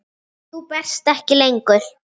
Þú berst ekki lengur.